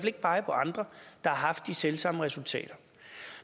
ikke pege på andre der har haft de selv samme resultater